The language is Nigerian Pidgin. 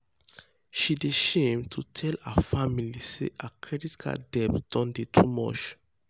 she dey shame to tell her family say her credit card debt don dey too much.